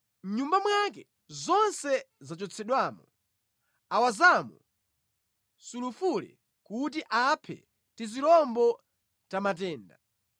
Mʼnyumba mwake zonse zachotsedwamo; awazamo sulufule kuti aphe tizirombo ta matenda.